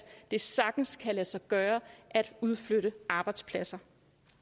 det sagtens kan lade sig gøre at udflytte arbejdspladser